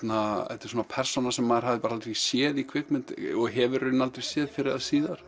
þetta er persóna sem maður hafði aldrei séð í kvikmynd og hefur aldrei séð fyrr eða síðar